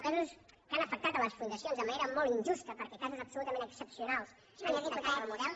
casos que han afectat les fundacions de manera molt injusta perquè casos absolutament excepcionals han hipotecat el model